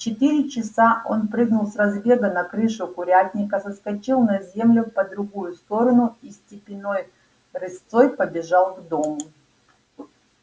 в четыре часа он прыгнул с разбега на крышу курятника соскочил на землю по другую сторону и степенной рысцой побежал к дому